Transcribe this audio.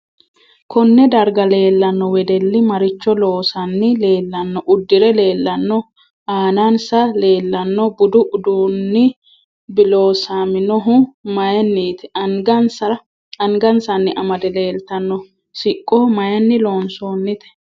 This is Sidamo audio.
Konne darga leelanno wedelli maricho loosani leelanno uddire leelanno aanansa leelano budu uduunibloosaminohu mayiinit angasanni amade leeltanno siqqo mayiini loonsoonite